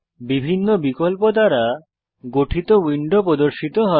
বিভিন্ন বিকল্প দ্বারা গঠিত উইন্ডো প্রদর্শিত হয়